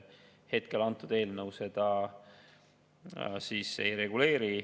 Hetkel antud eelnõu seda ei reguleeri.